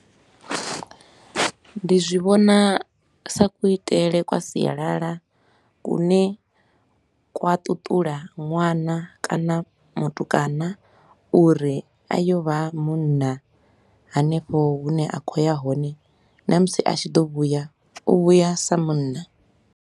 Ndi zwi vhona sa kuitele kwa sialala kune kwa tutula ṅwana kana mutukana uri a yo vha munna hanefho hune a khou ya hone na musi a tshi ḓo vhuya u vhuya sa munna.